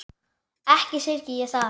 Ekki syrgi ég það.